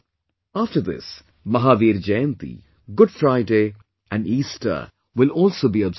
After this... Mahavir Jayanti, Good Friday and Easter will also be observed